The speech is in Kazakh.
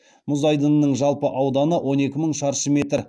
мұз айдынының жалпы ауданы он екі мың шаршы метр